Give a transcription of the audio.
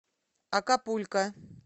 акапулько